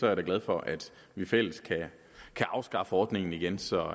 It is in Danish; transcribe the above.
jeg da glad for at vi i fællesskab kan afskaffe ordningen igen så